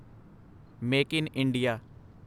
make in India